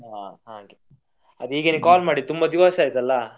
ಹ ಹಾಗೆ ಅದೆ ಹೀಗೇನೇ call ಮಾಡಿದ್ದು ತುಂಬ ದಿವಸ ಆಯ್ತಲ್ಲಾ.